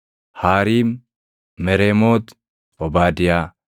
Haariim, Mereemooti, Obaadiyaa,